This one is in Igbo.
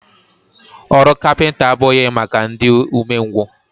Ọrụ kapịnta abụghị maka ndị ume ngwụ.